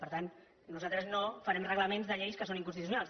per tant nosaltres no farem reglaments de lleis que són inconstitucionals